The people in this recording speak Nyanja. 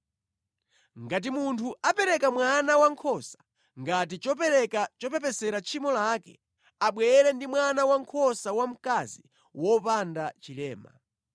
“ ‘Ngati munthu apereka mwana wankhosa ngati chopereka chopepesera tchimo lake, abwere ndi mwana wankhosa wamkazi wopanda chilema.